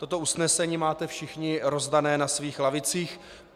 Toto usnesení máte všichni rozdáno na svých lavicích.